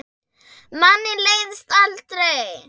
Manni leiðist aldrei.